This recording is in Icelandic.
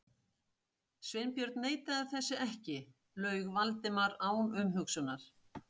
Sveinbjörn neitaði þessu ekki- laug Valdimar án umhugsunar.